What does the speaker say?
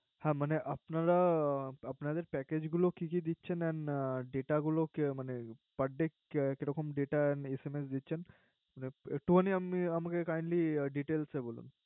হ্যা মানে আপনারা আপনাদের Package গুলো কি কি দিচ্ছেন And Data গুলো মানে Parday data and SMS দিচ্ছেন একটুখানি আমাকে Cindly details এ বলেন